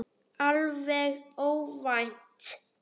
Alveg óvænt!